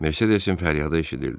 Mercedesin fəryadı eşidildi.